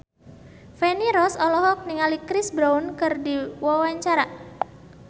Feni Rose olohok ningali Chris Brown keur diwawancara